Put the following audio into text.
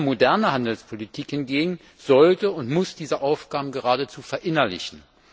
Moderne Handelspolitik hingegen sollte und muss diese Aufgaben geradezu verinnerlichen.